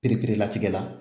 Pereperelatigɛ la